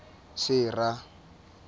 sera